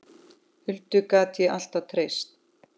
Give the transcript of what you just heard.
Huldu gat ég alltaf treyst.